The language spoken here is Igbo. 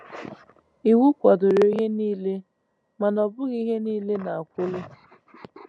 Iwu kwadoro ihe niile; mana ọ bụghị ihe niile na-akwụli. ”